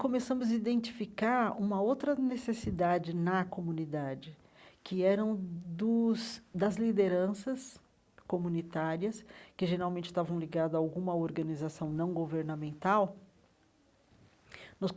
Começamos a identificar uma outra necessidade na comunidade, que eram dos das lideranças comunitárias, que geralmente estavam ligada a alguma organização não governamental nos.